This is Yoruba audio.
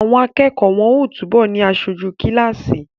Àwọn akẹ́kọ̀ọ́ wọ́n ó túbọ̀ ni aṣojú kíláàsì